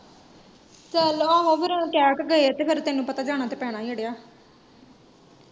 ਚੱਲ ਆਹੋ ਫੇਰ ਕਹਿ ਕੇ ਗਏ, ਤੇ ਫੇਰ ਤੈਨੂੰ ਪਤਾ ਜਾਣਾ ਤੇ ਪੈਣਾ ਏ ਅੜਿਆ।